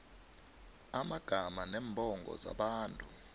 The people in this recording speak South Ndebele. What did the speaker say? amagama neembongo zabantu